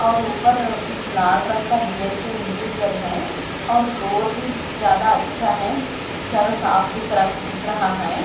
और ऊपर कुछ लाल रंग का डिजाइन से इंटीरियर है और फ्लोर भी ज्यादा अच्छा है ज्यादा साफ दिख रा दिख रहा है।